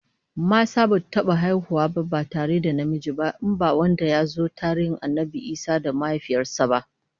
Mata basu taba haihuwa ba ba tare da namiji ba, in ba wanda yazo a tarihin Annabi Isa da mahaifiyar sa ba.